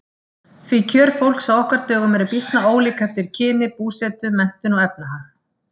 Því kjör fólks á okkar dögum eru býsna ólík eftir kyni, búsetu, menntun og efnahag.